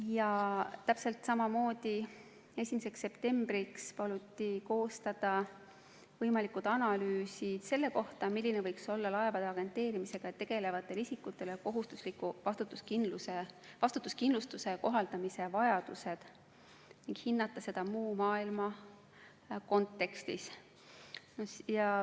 Ja täpselt samamoodi 1. septembriks paluti koostada analüüs selle kohta, milline võiks olla laevade agenteerimisega tegelevatele isikutele kohustusliku vastutuskindlustuse kohaldamise vajadus, ning hinnata seda muu maailma kontekstis.